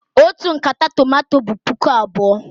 Otu nkata tomato bụ puku abụọ.